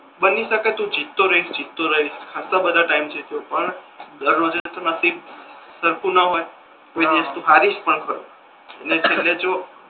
બની શકે તુ જીતતો રહીશ જીતતો રહીશ ખાસા બધા ટાઇમ થી જીત્યો પણ સરખુ ના હોય કોઈ દિવસ તુ હરીશ પણ ખરા